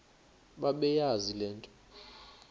bebeyazi le nto